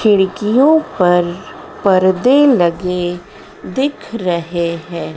खिड़कियों पर परदे लगे दिख रहे हैं।